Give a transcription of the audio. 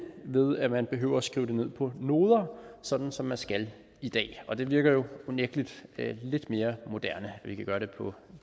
ved at man behøver at skrive det ned på noder sådan som man skal i dag og det virker jo unægteligt lidt mere moderne at vi kan gøre det på